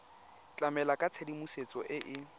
tlamela ka tshedimosetso e e